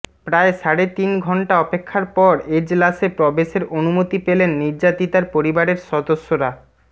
প্রায় সাড়ে তিন ঘন্টা অপেক্ষার পর এজলাসে প্রবেশের অনুমতি পেলেন নির্যাতিতার পরিবারের সদস্যরা